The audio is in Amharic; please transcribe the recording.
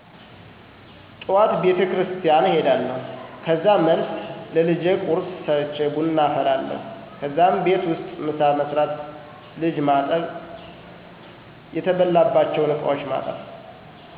ጠዋት ቤቴክርስትያን እሄዳለሁ ከዛ መልስ ለልጀ ቁርስ ሰርቼ ቡና አፈላለሁ ከዛም ቤት ውስጥ ምሳ መስራት ልጅ ማጠብ የተበላባቸውን እቃዎች ማጠብ